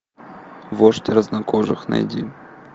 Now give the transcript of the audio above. вождь разнокожих найди